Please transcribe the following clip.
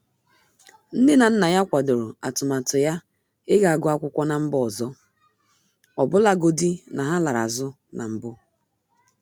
Nne na nna ya kwadoro atụmatụ ya iga guọ akwụkwọ na mba ọzọ, ọbụlagodi na ha larụ azụ na mbụ.